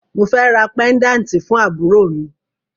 Mo fẹ́ ra pẹ́ńdáǹtì fún àbúrò mi